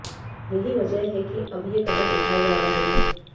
यही वजह है कि अब ये कदम उठाए जा रहे हैं